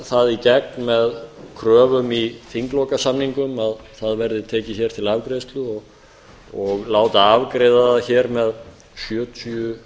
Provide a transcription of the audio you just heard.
það í gegn með kröfum í þinglokasamningum að það verði tekið hér til afgreiðslu og látið afgreiða það hér með sjötíu